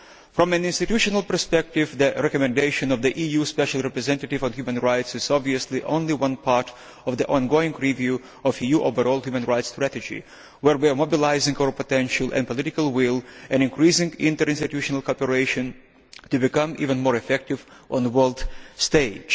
From an institutional perspective, the recommendation that there should be an EU Special Representative on Human Rights is obviously only one part of the ongoing review of the EU's overall human rights strategy, where we are mobilising our potential and political will and increasing interinstitutional preparations to become even more effective on the world stage.